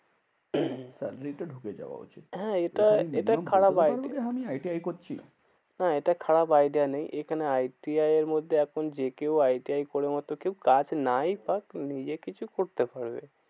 চাকরিতে ঢুকে যাওয়া। হ্যাঁ এটা এটা খারাপ idea বলতে পারবো যে আমি আই টি আই করছি। হ্যাঁ এটা খারাপ idea নেই। এইখানে আই টি আই এর মধ্যে এখন যে কেউ আই টি আই করার মতো কেউ কাজ নাই পাক নিজে কিছু করতে পারবে।